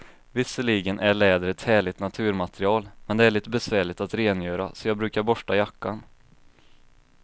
Visserligen är läder ett härligt naturmaterial, men det är lite besvärligt att rengöra, så jag brukar borsta jackan.